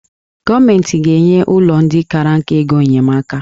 Gọọmenti ga-enye ụlọ ndị kara nka ego enyemaka